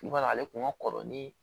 I b'a ye ale tun ka kɔrɔ ni